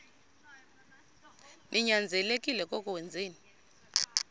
ninyanzelekile koko wenzeni